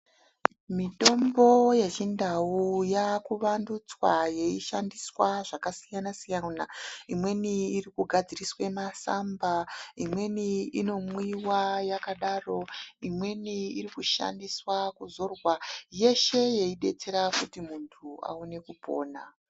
Mitombo ye chindau yaku wandutswa yei shandiswa zvaka siyana siyana imweni iri ku gadziriswe masamba imweni ino mwiwa yakadaro imweni iri kushandiswa kuzorwa yeshe yei detsera kuti muntu aone kupona.